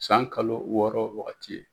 San kalo wɔɔrɔ wagati ye.